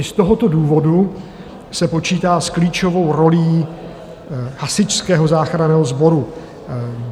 I z tohoto důvodu se počítá s klíčovou rolí Hasičského záchranného sboru.